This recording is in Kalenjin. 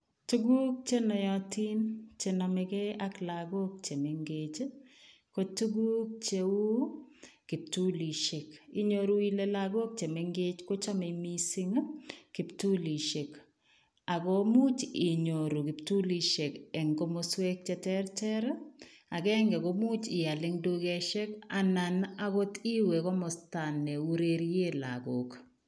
Tuguk che noyotin che nomegei ak lagok che mengech, ko tuguk cheu kiptulisiek. Inyoru ile lagok che mengech kochamei mising kiptulisiek ago much inyoru kiptulisiek eng komoswek cheterter, agenge komuch ial eng dukosiek anan agot iwe komosta neurerie lagok.